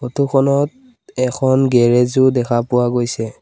Photo খনত এখন garage ও দেখা পোৱা গৈছে।